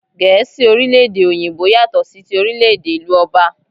Gẹ̀ẹ́si orílè-èdè Òyìnbó yàtọ sí tí orílè-èdè ìlú Òbà.